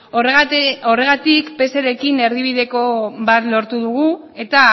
horregatik pserekin erdibideko bat lortu dugu eta